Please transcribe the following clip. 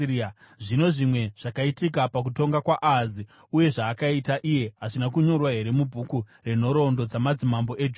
Zvino zvimwe zvakaitika pakutonga kwaAhazi, uye zvaakaita iye, hazvina kunyorwa here mubhuku renhoroondo dzamadzimambo eJudha?